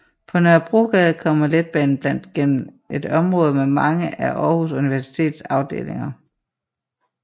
På Nørrebrogade kommer letbanen blandt gennem et område med mange af Aarhus Universitets afdelinger